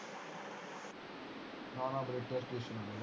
ਨਾ ਨਾ ਬਰੇਟੇ ਸੀ